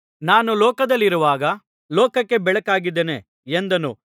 ನಾನು ಲೋಕದಲ್ಲಿರುವಾಗ ಲೋಕಕ್ಕೆ ಬೆಳಕಾಗಿದ್ದೇನೆ ಎಂದನು